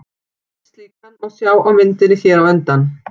Einn slíkan má sjá á myndinni hér á undan.